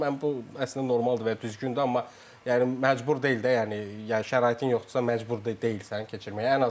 Mən bu əslində normaldır və ya düzgündür, amma yəni məcbur deyil də, yəni şəraitin yoxdursa, məcbur deyilsən keçirməyə.